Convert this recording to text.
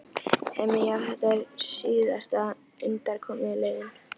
Heimir: Já, og þetta er síðasta undankomuleiðin?